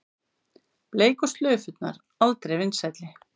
Bleiku slaufurnar aldrei vinsælli